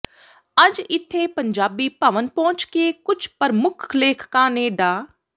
ਅੱਜ ਇਥੇ ਪੰਜਾਬੀ ਭਵਨ ਪਹੁੰਚ ਕੇ ਕੁਝ ਪ੍ਰਮੁੱਖ ਲੇਖਕਾਂ ਨੇ ਡਾ